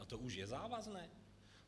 A to už je závazné?